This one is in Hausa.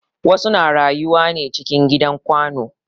Wasu na rayuwa ne cikin gidan kwano